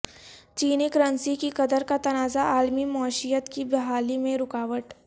چینی کرنسی کی قدر کا تنازع عالمی معیشت کی بحالی میں رکاوٹ